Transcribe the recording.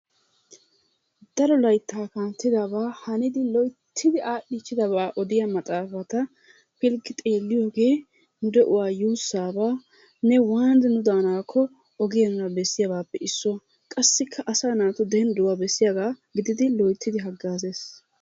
Daro layttaa kanttidabaa hanidi loyttidi aadhdhichidabaa odiya maxaafata pilggi xeeliyoogee nu de'uwaa yuusaabanne waanidi nu daanakko ogiya nuna bessiyaabaappe issuwa. Qassikka asaa naatu dendduwaa besiyaagaa gididi loyttidi hagaazees.